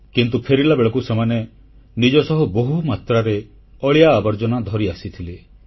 କିନ୍ତୁ ଫେରିଲା ବେଳକୁ ସେମାନେ ନିଜ ସହ ବହୁ ମାତ୍ରାରେ ଅଳିଆ ଆବର୍ଜନା ଧରିଆସିଥିଲେ